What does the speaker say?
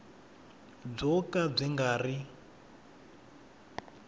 byo ka byi nga ri